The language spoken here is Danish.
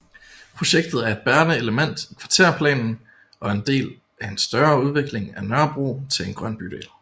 Projektet er et bærende element i Kvarterplanen og en del af en større udvikling af Nørrebro til en grøn bydel